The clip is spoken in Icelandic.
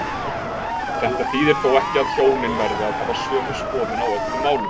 Þetta þýðir þó ekki að hjónin verði að hafa sömu skoðun á öllum málum.